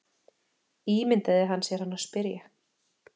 Ímyndaði hann sér hana spyrja.